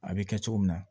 A bɛ kɛ cogo min na